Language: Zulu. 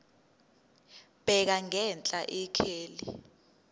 bheka ngenhla ikheli